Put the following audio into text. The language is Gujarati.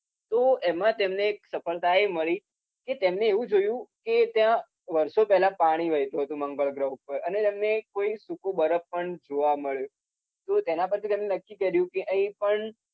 તો એમા તેમને સફળતા એ મળી કે તેમને એ જોયુ કે ત્યાં વર્ષો પહેલા પાણી વહેતુ હતુ મંગળ ગ્રહ પર. એને એમને ત્યાં કોઈક બરફ પણ જોવા મળ્યુ. તો તેના પછી તેમને નક્કી કર્યુ કે અહિં પણ